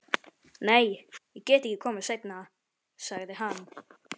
Nei, ég get ekki komið seinna, sagði hann.